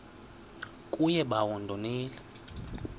kuye bawo ndonile